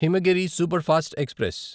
Himagiri superfast express